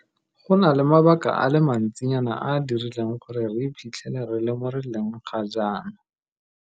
Go na le mabaka a le mantsinyana a a dirileng gore re iphitlhele re le mo re leng ga jaana.